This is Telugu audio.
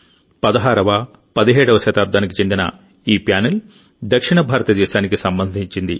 16వ17వ శతాబ్దానికి చెందిన ఈ ప్యానెల్ దక్షిణ భారతదేశానికి సంబంధించింది